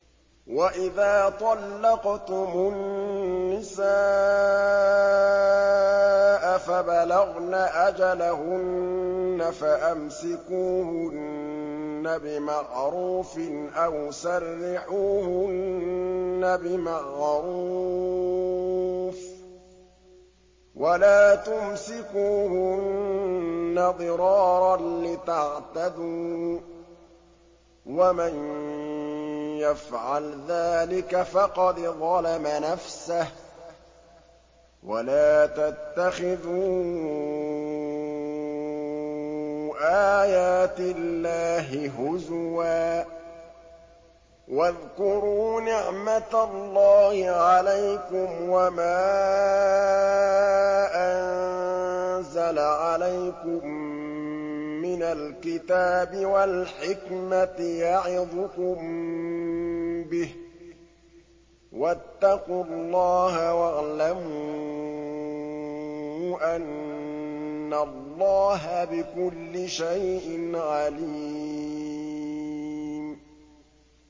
وَإِذَا طَلَّقْتُمُ النِّسَاءَ فَبَلَغْنَ أَجَلَهُنَّ فَأَمْسِكُوهُنَّ بِمَعْرُوفٍ أَوْ سَرِّحُوهُنَّ بِمَعْرُوفٍ ۚ وَلَا تُمْسِكُوهُنَّ ضِرَارًا لِّتَعْتَدُوا ۚ وَمَن يَفْعَلْ ذَٰلِكَ فَقَدْ ظَلَمَ نَفْسَهُ ۚ وَلَا تَتَّخِذُوا آيَاتِ اللَّهِ هُزُوًا ۚ وَاذْكُرُوا نِعْمَتَ اللَّهِ عَلَيْكُمْ وَمَا أَنزَلَ عَلَيْكُم مِّنَ الْكِتَابِ وَالْحِكْمَةِ يَعِظُكُم بِهِ ۚ وَاتَّقُوا اللَّهَ وَاعْلَمُوا أَنَّ اللَّهَ بِكُلِّ شَيْءٍ عَلِيمٌ